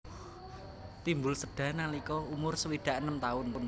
Timbul séda nalika umur swidak enem taun